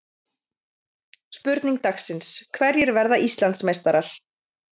Spurning dagsins: Hverjir verða Íslandsmeistarar?